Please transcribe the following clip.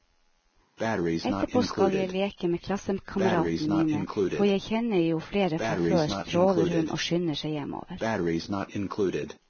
Etterpå skal jeg leke med klassekameratene mine, for jeg kjenner jo flere fra før, stråler hun og skynder seg hjemover.